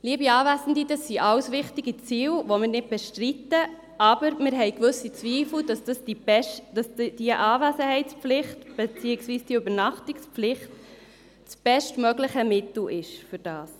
Dies alles sind wichtige Ziele, die wir nicht bestreiten, aber wir haben gewisse Zweifel, ob die Anwesenheitspflicht, beziehungsweise die Übernachtungspflicht, das bestmögliche Mittel dafür ist.